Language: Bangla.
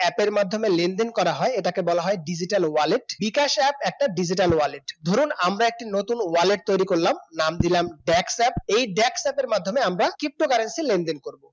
app র মাধ্যমে লেনদেন করা হয়, এটাকে বলা হয় digital wallet বিকাশ app একটা digital wallet ধরুন আমরা একটি নতুন wallet তৈরি করলাম নাম দিলাম backpack এই back pack মাধ্যমে আমরা ptocurrency লেনদেন করব